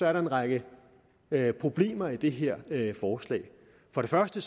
er der en række problemer i det her forslag for det første